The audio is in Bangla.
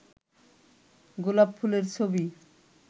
গোলাপ ফুলের ছবি